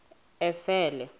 efele